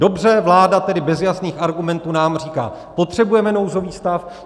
Dobře, vláda tedy bez jasných argumentů nám říká: potřebujeme nouzový stav.